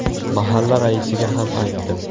Mahalla raisiga ham aytdim.